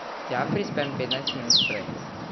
Tja prispem petnajst minut prej.